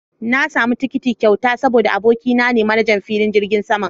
Na samu tikiti a kyauta saboda abokina ne manajan filin jirgin saman